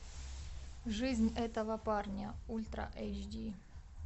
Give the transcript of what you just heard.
жизнь этого парня ультра эйч ди